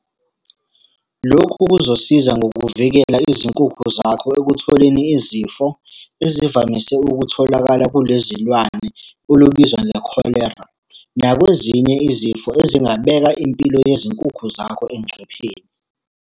Lokhu kuzosiza ngokuvikela izinkukhu zakho ekutholeni izifo ezivamise ukutholakala kule zilwane, olubizwa ngekholera. Nakwezinye izifo ezingabeka impilo yezinkukhu zakho engcupheni.